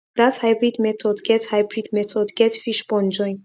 that hybrid method get hybrid method get fish pond join